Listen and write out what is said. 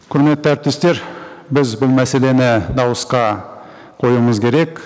құрметті әріптестер біз бұл мәселені дауысқа қоюымыз керек